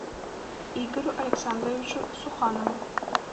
игорю александровичу суханову